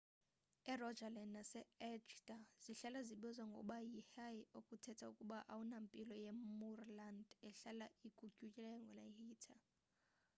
e-rogaland naseagder zihlala zibizwa ngokuba yi hei okuthetha ukuba awunampilo ye-moorland ehlala igutyungelwe yiheather